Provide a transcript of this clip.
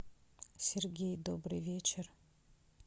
сергей добрый вечер